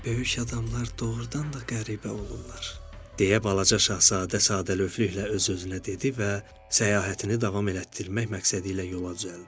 Böyük adamlar doğurdan da qəribə olurlar, deyə balaca şahzadə sadəlövlükklə öz-özünə dedi və səyahətini davam elətdirmək məqsədi ilə yola düzəldi.